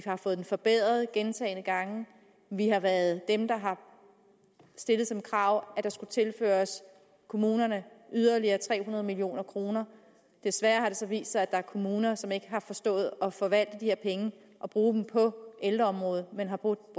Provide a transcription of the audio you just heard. har fået den forbedret gentagne gange vi har været dem der har stillet som krav at der skulle tilføres kommunerne yderligere tre hundrede million kroner desværre har det så vist sig at der er kommuner som ikke har forstået at forvalte de her penge og bruge dem på ældreområdet men har brugt